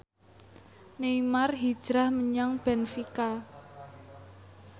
Neymar hijrah menyang benfica